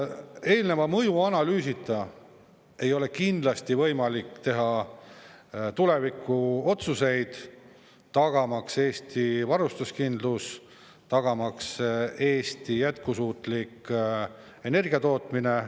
Eelneva mõjuanalüüsita ei ole kindlasti võimalik teha tulevikuotsuseid tagamaks Eesti varustuskindlust, tagamaks Eesti jätkusuutlik energia tootmine.